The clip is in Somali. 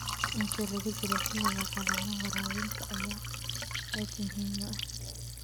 Inta lagu jiro xilliga qallalan, waraabinta ayaa aad muhiim u ah.